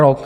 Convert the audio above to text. Rok!